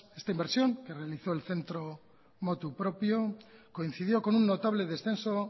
esta inversión que realizo el centro a motu propio coincidió con una notable descenso